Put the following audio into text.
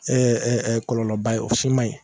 Ɛ ɛ ɛ kɔlɔlɔba ye o si manɲi